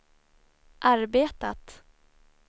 arbetat